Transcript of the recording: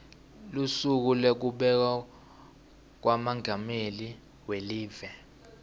lusuku lwekubekwa kwamengameli welive